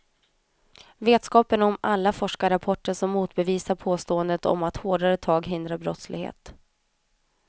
Vetskapen om alla forskarrapporter som motbevisar påståendet om att hårdare tag hindrar brottslighet.